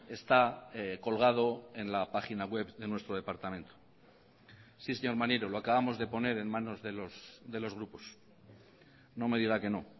está colgado en la página web de nuestro departamento sí señor maneiro lo acabamos de poner en manos de los grupos no me diga que no